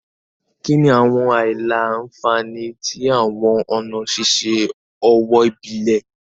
Kini awọn aila-nfani ti awọn ọna ṣiṣe owo ibile?